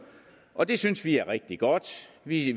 og det synes vi er rigtig godt vi